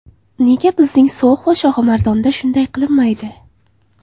Nega bizning So‘x va Shohimardonda shunday qilinmaydi?